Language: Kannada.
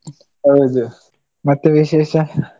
ಹೌದು, ಮತ್ತೆ ವಿಶೇಷ?